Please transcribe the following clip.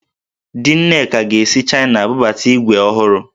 Di Nneka ga-esi Chaịna bubata ígwè ọhụrụ